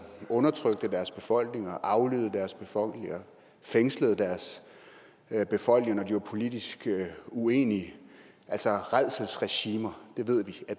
undertrykte deres befolkninger aflyttede deres befolkninger fængslede deres befolkninger når de var politisk uenige altså rædselsregimer